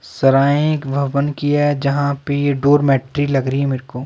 सराएं एक भवन की है जहां पे ये डोरमैट्री लग रही है मेरे को।